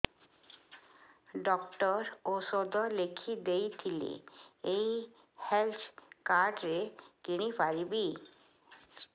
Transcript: doctor ଔଷଧ ଲେଖିଦେଇଥିଲେ ଏଇ ହେଲ୍ଥ କାର୍ଡ ରେ କିଣିପାରିବି